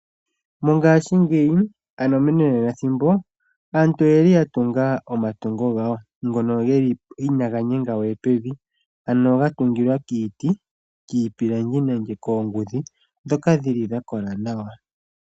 Mongashingeyi ano menanenathimbo aantu oye li yatunga omatungo gawo ngono ge li inaga nyenga we pevi ano ga tungilwa kiiti, kiipilangi nenge koongudhi ndhoka dhi li dha kola nawa.